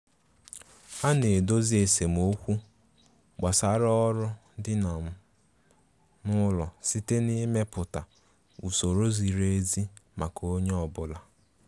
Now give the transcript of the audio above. A na-edozi esemokwu gbasara ọrụ di um n'ụlọ site na ịmepụta usoro ziri ezi maka onye ọbụla.